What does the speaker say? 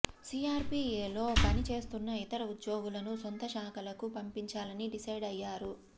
CRDA లో పని చేస్తున్న ఇతర ఉద్యోగులను సొంత శాఖలకు పంపించాలని డిసైడ్ అయ్యారు